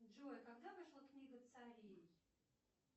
джой когда вышла книга царей